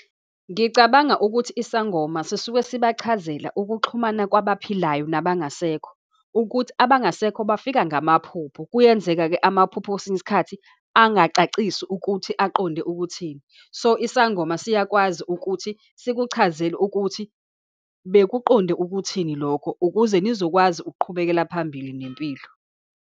Ngicabanga ukuthi isangoma sisuke sibachazela ukuxhumana kwabaphilayo nabangasekho, ukuthi abangasekho bafika ngamaphupho. Kuyenzeka-ke amaphupho kwesinye isikhathi angacacisi ukuthi aqonde ukuthini. So, isangoma siyakwazi ukuthi sikuchazele ukuthi bakuqonde ukuthini lokho, ukuze nizokwazi ukuqhubekela phambili nempilo.